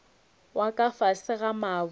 wa ka fase ga mabu